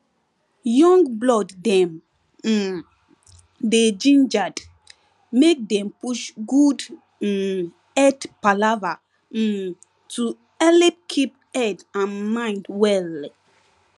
young blood dem um dey gingered make dem push good um head palava um to helep keep head and mind well